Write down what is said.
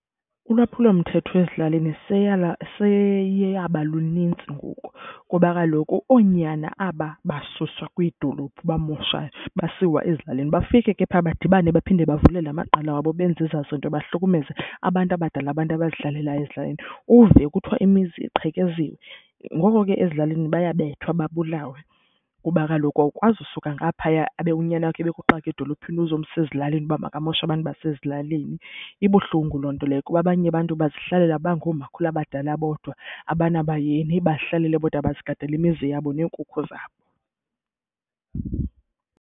Ulwaphulomthetho ezilalini seyeyaba lunintsi ngoku kuba kaloku oonyana aba basuswa kwiidolophu bamoshayo basiwa ezilalini. Bafike ke phaa badibane baphinde bavule la maqela wabo benze ezaa zinto, bahlukumezeka abantu abadala, abantu abazihlalelayo ezilalini. Uve kuthiwa imizi iqhekeziwe. Ngoko ke ezilalini bayabethwa babulawe kuba kaloku awukwazi usuka ngaphaya abe unyana wakho ebekuxake edolophini uzomsa ezilalini uba makamoshe abantu basezilalini. Ibuhlungu loo nto leyo kuba abanye abantu bazihlalela bangoomakhulu abadala bodwa, abanabayeni bazihlalele bodwa bazigadele imizi yabo neenkukhu zabo.